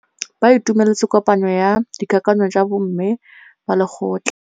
Ba itumeletse kôpanyo ya dikakanyô tsa bo mme ba lekgotla.